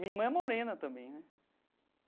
Minha irmã é morena também né.